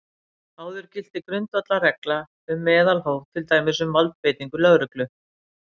Áður gilti grundvallarregla um meðalhóf, til dæmis um valdbeitingu lögreglu.